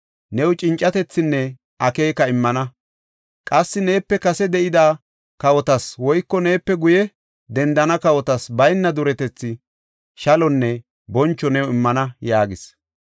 new cincatethinne akeeka immana. Qassi neepe kase de7ida kawotas woyko neepe guye dendana kawotas bayna duretethi, shalonne boncho new immana” yaagis.